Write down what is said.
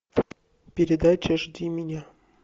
передача жди меня